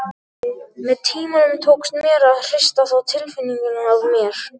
Með tímanum tókst mér að hrista þá tilfinningu af mér.